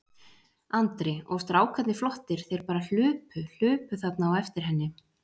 Andri: Og strákarnir flottir, þeir bara hlupu, hlupu þarna á eftir henni?